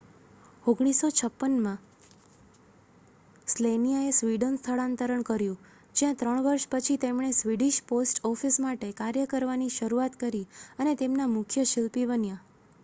1956માં સ્લેનિયાએ સ્વીડન સ્થળાંતર કર્યું જ્યાં ત્રણ વર્ષ પછી તેમણે સ્વીડિશ પોસ્ટ ઑફિસ માટે કાર્ય કરવાની શરૂઆત કરી અને તેમના મુખ્ય શિલ્પી બન્યા